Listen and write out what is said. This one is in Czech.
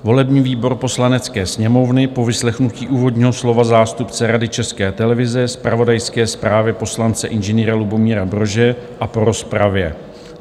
"Volební výbor Poslanecké sněmovny po vyslechnutí úvodního slova zástupce Rady České televize, zpravodajské zprávě poslance Ing. Lubomíra Brože a po rozpravě